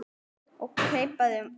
og keipaði upp að landi.